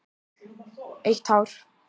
Eitt hár.